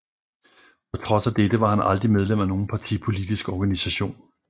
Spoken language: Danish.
På trods af dette var han aldrig medlem af nogen partipolitisk organisation